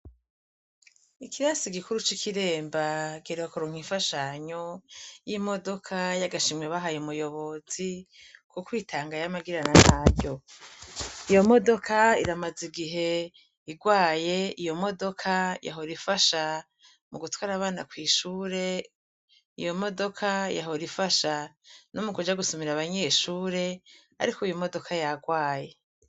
ikirasi gikuru c'ikiremba Giheruka kuronka ifashanyo y'imodoka yagashimwe bahaye muyobozi ku kwitanga y amagirana nayo iyo modoka iramaza igihe igwaye iyo modoka yahora ifasha mu gutwara abana ku ishure iyo modoka yahora ifasha no mu kuja gusumira abanyeshure ariko uyu modoka yagwaye.